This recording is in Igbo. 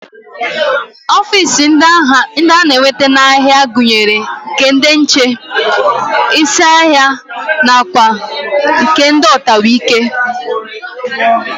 Ofiisi ndị a na-enweta n'ahịa gụnyere nke ndị nche, isi ahịa nakwa nke ndị ọtawaike